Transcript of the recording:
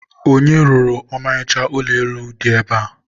onye rụrụ ọmarịcha ụlọ elu a dị ebe a?